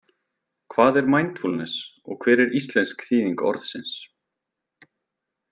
Hvað er mindfulness og hver er íslensk þýðing orðsins?